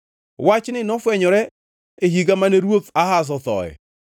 Wachni nofwenyore e higa mane ruoth Ahaz othoe.